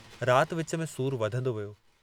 रात विच में सूरु वधंदो वियो।